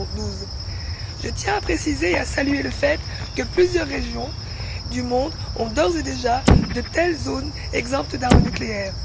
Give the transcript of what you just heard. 2012. Je tiens à préciser et à saluer le fait que plusieurs régions du monde ont d'ores et déjà de telles zones exemptes d'armes nucléaires.